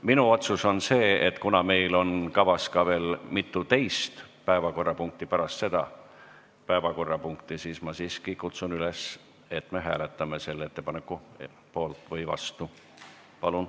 Minu otsus on see, et kuna meil on kavas veel mitu teist päevakorrapunkti, siis ma siiski kutsun üles, et me hääletame selle ettepaneku poolt või vastu.